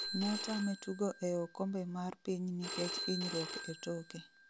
Notame tugo e okombe mar piny nikech inyruok e toke